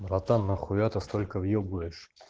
братан на хуя то столько въебываешь